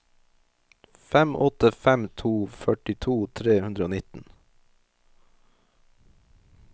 fem åtte fem to førtito tre hundre og nitten